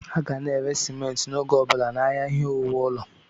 A ga na-ere simenti n'oge ọbụla n'ahịa ihe owuwu ụlọ.